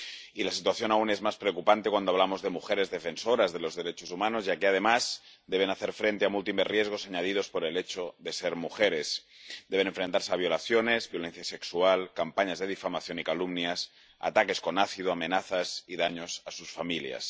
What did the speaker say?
Y la situación es aún más preocupante cuando hablamos de mujeres defensoras de los derechos humanos, ya que, además, deben hacer frente a múltiples riesgos añadidos por el hecho de ser mujeres deben enfrentarse a violaciones, violencia sexual, campañas de difamación y calumnias, ataques con ácido, amenazas y daños a sus familias.